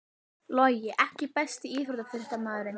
Logi EKKI besti íþróttafréttamaðurinn?